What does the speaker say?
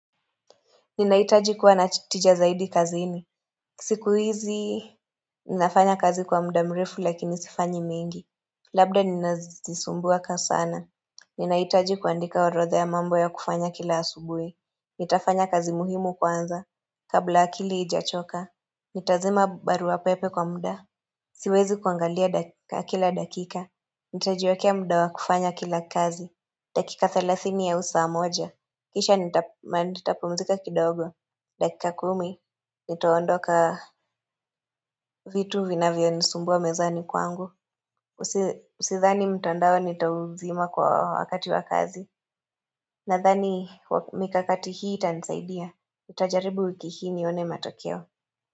Ninahitaji kuwana tija zaidi kazini. Siku hizi ninafanya kazi kwa muda mrefu lakini sifanyi mingi. Labda ninazisumbua kasana. Ninahitaji kuandika oroda ya mambo ya kufanya kila asubuhi. Nitafanya kazi muhimu kwanza. Kabla akili ijachoka. Nitazima barua pepe kwa muda. Siwezi kuangalia kila dakika. Nitajiwekea muda wa kufanya kila kazi. Dakika thalathini au saa amoja. Kisha nitapumzika kidogo. Dakika kumi, nitaondoka vitu vinavyo nisumbua mezani kwangu. Usidhani mtando nitauzima kwa wakati wa kazi. Nadhani mikakati hii itanisaidia. Nitajaribu wiki hii nione matokeo.